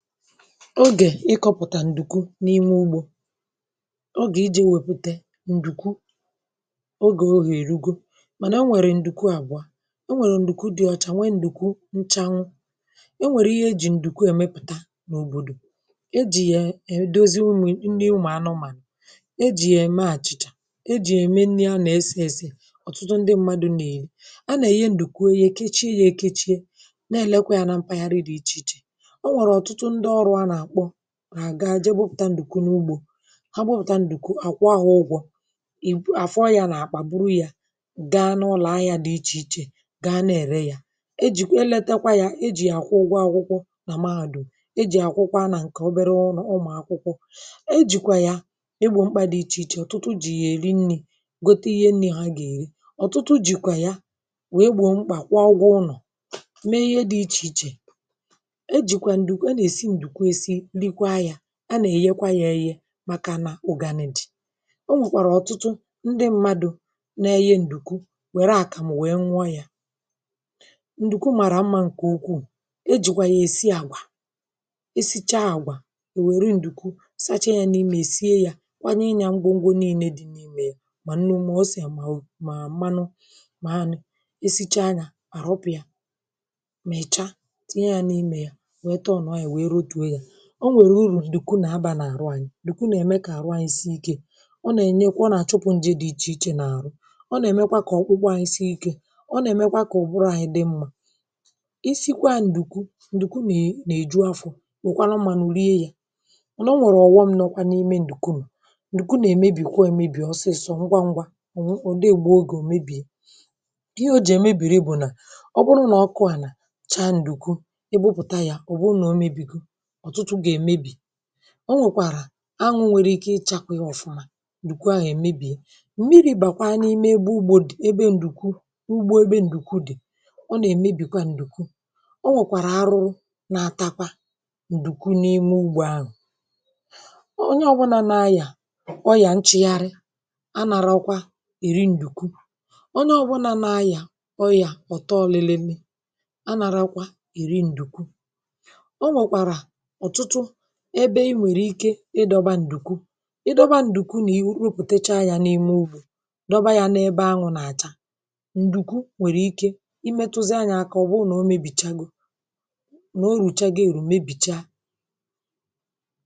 Ogè ịkọpụ̀tà ǹdùkwu n’ime ugbȯ ogè iji̇ wèpụ̀tè ǹdùkwu ogè ogè rugu mànà o nwèrè ǹdùkwu àbụọ o nwèrè ǹdùkwu dị ọcha nwee ǹdùkwu nchanwụ enwèrè ihe ejì ǹdùkwu èmepụ̀ta n’òbòdò ejì yà èdozi umù nni ụmụ̀ anụmànụ̀ ejì yà-ème àchịchà ejì yà-ème nni a nà-ese ese ọ̀tụtụ ndị mmadu̇ nà-èyi a nà-èye ǹdùkwu e yè kechie yȧ èkechie na-èlekwa yȧ na mpaghara dị̇ ichè ichè enwere ọtụtụ ndị ọrụ ana akpọ ga jee gbụpụ̀ta ǹdùkwu n’ugbȯ ha gbụpụ̀ta ǹdùkwu àkwa ahụ̀ ụgwọ̇ ìbụ àfọ yȧ nà àkpà buru yȧ gaa n’ụlọ̀a yȧ dị ichè ichè ga na-ère ya e jìkwa eleta kwa yȧ ejì àkwụ ụgwọ àkwụkwọ nà mahadum ejì àkwụkwọ anà ǹkè obere ọrụ̇ ụmụ̀akwụkwọ e jìkwà ya egbo mkpà dị̀ ichè ichè ọ̀tụtụ jì yà èri nni̇ gote ihe nni̇ ha gà èri ọ̀tụtụ jìkwà ya wèe gbò mkpà kwuọ ụgwọ ụnọ̀ mee ihe dị̇ ichè ichè ejikwa ǹdùku ana esi ǹdùku esi rikwa ya a nà-èyekwa ya eye màkà nà ụgàni dị ọ nwèkwàrà ọ̀tụtụ ndị mmadụ̀ na-eyi ǹdùku wère àkàmụ̀ wèe nwa yȧ ǹdùku màrà mmȧ ǹkè ukwuu ejìkwà yà èsi àgwà esichaa àgwà èwère ǹdùku sachaa ya n’imė sie yȧ kwanyi inyȧ ngwo ngwo nii̇nė dị n’imė yà mà nnu ma osì à mà mànụ mà anụ̇ esichaa yȧ ahọpụ̀ ya mèchaa tinye ya n’imė ya wee tọọrnụọ ya wee rọtuo ya o nwèrè urù ǹdùku nà abȧ n’àru anyị̇ ǹdùku nà ème kà àrụ anyị̇ si ikė o nà ènyekwa nà àchụpụ̇ ṅjė dị̇ ichè ichè nà àrụ ọ nà èmekwa kà ọkwụkwọ ànyị si ikė ọ nà èmekwa kà ọ̀ bụrụ anyị̇ dị mmȧ i sikwa ǹdùku ǹdùku nì nà èju afọ̇ nò kwanụ mmȧnụ̀ rie yȧ onwekwara ọ̀wọṁ nọkwa n’ime ǹdùku ǹdùku nà èmebìkwa èmebì ọsịsọ ngwa ṅgwȧ ọ̀ dịghị egbu ogè omebì ihe ojì èmebìri bụ̀ nà ọ bụrụ nà ọkụ ànà chaa ǹdùku ebupụ̀ta yȧ ọ̀ bụrụ nà o mebìku ọtụtụ ga emebi ọ nwèkwàrà anwụ nwere ike ịchakwa ọ̀fụma ndùkwu ahụ èmebìe mmiri̇ bàkwa n’ime ebe ụgbọ dị̀ ebe ǹdùkwu ugbo ebe ǹdùkwu dị̀ ọ nà-èmebìkwa ǹdùkwu ọ nwèkwàrà arụrụ na-atakwa ǹdùkwu n’ime ugbọ ahụ̀ onye ọgbana nà-ayà ọyà nchịgharị a nà-arọkwa èri ǹdùkwu ọ nụ ọbụna nà-ayà ọyà ọtọ ọlieleme a nà-arọkwa èri ǹdùkwu enwekwara ọtụtụ ebe ịnwere ike ị dọba ǹdùkwu ị dọba ǹdùkwu nà i wepụ̀techa ya n’ime ụbụ̀ dọba ya n’ebe ahụ̇ nà-àcha ǹdùkwu nwèrè ike imėtụzị anyị akọ̀ ọ̀ bụ nà o mebìchaa go nà o rùchaga èrù mebìcha.